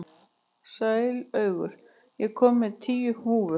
Sælaugur, ég kom með tíu húfur!